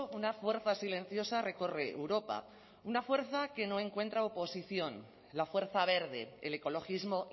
una fuerza silenciosa recorre europa una fuerza que no encuentra oposición la fuerza verde el ecologismo